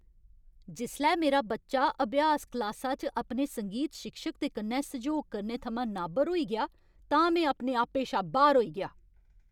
जिसलै मेरा बच्चा अभ्यास क्लासा च अपने संगीत शिक्षक दे कन्नै सैह्योग करने थमां नाबर होई गेआ तां में आपे शा बाह्‌र होई गेआ।